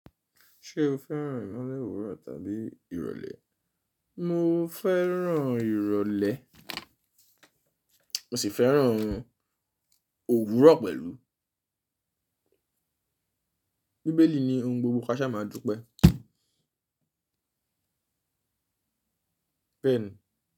Ṣé o fẹ́ràn ìmọ́lẹ̀ òwúrọ̀ tàbí ìrọ̀lẹ́? Mo fẹ́ràn ìrọ̀lẹ́, mo sì fẹ́ràn òwúrọ̀ pẹ̀lú. Bíbélì ni ohun gbogbo káṣá máa dupẹ́. Beeni.